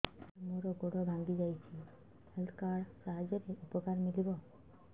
ସାର ମୋର ଗୋଡ଼ ଭାଙ୍ଗି ଯାଇଛି ହେଲ୍ଥ କାର୍ଡ ସାହାଯ୍ୟରେ ଉପକାର ମିଳିବ